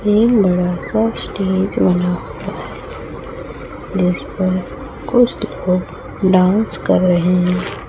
ये का स्टेज बना हुआ है जिसपर कुछ लोग डांस कर रहे हैं।